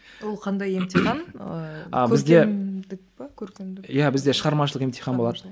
ол қандай емтихан ыыы иә бізде шығармашылық емтихан болады